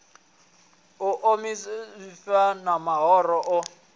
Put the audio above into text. u ḓo ḓivhadza mahoro o